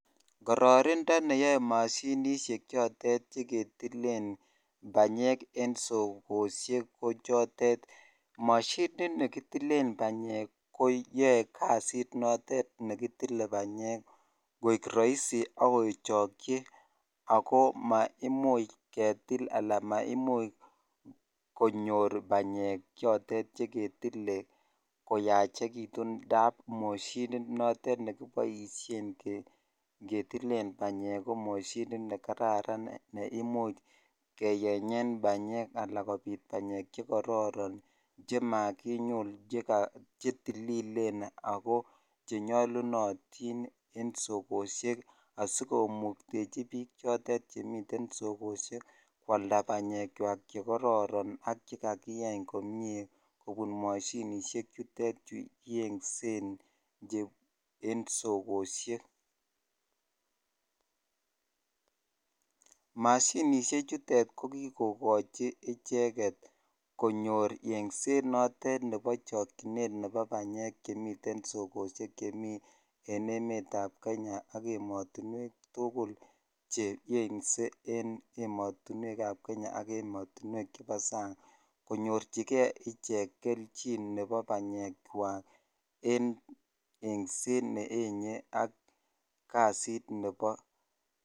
Kororindo neyoe moshinishek chotet cheketilen banyek en sokoshek ko chotet moshinit nekitilen banyek ko yoee kasit notet nekitile banyek koik roisi ak kechokyi ak ko maimuch ketil alaan maimuch konyor banyek chotet ketile koyachekitun ndaab moshinit notet nekiboishen ketilen banyek komoshinit nekararan neimuch keyenyen banyek alaan kobit banyek chekororon chemakinyul che tililen ak ko chenyolunotin en sokoshek asikomuktechi biik chotet chemiten sokoshek kwalda banyekwak chekororon ak chekakiyeny komie kobun moshinishek chutet chu yeng'sen en sokoshek, mashinishek chutet ko kikokochi icheket konyor yeng'set notet nebo chokyinet nebo banyek chemiten sokoshek chemii en emetab kenya ak emotinwek tukul hce yeng'se en emotinwekab kenya ak emotinwek chebo sang konyorchike ichek kelchin nebo banyekwak en eng'set ne yenye ak kasit nebo.